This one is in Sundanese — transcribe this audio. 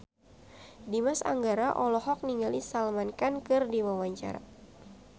Dimas Anggara olohok ningali Salman Khan keur diwawancara